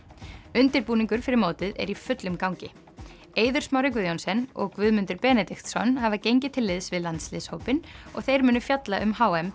undirbúningur fyrir mótið er í fullum gangi Eiður Smári Guðjohnsen og Guðmundur Benediktsson hafa gengið til liðs við landsliðshópinn og þeir munu fjalla um h m